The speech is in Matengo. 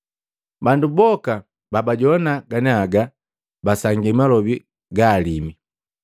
Bandu boka babajowana ganiaga basangia malobi gaalimu.